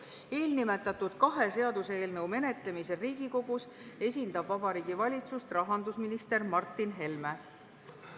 Eelnimetatud kahe seaduseelnõu menetlemisel Riigikogus esindab Vabariigi Valitsust rahandusminister Martin Helme.